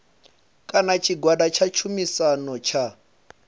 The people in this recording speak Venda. kana tshigwada tsha tshumisano tsha